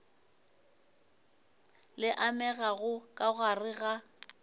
le amegago ka gare ga